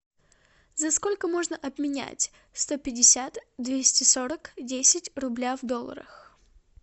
за сколько можно обменять сто пятьдесят двести сорок десять рубля в долларах